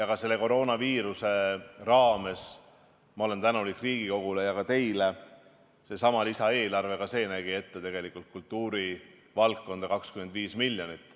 Ka selle koroonaviiruse raames ma olen tänulik Riigikogule ja ka teile, sest ka seesama lisaeelarve nägi kultuurivaldkonnale ette 25 miljonit.